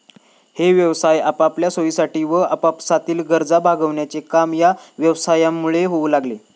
हे व्यवसाय आपापल्या सोयीसाठी वा आपापसातील गरजा भागविण्याचे काम या व्यवसायांमुळे होऊ लागले.